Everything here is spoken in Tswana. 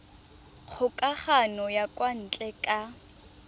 kgokagano ya kwa ntle ka